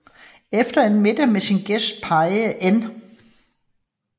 Efter en middag med sin gæst pegede N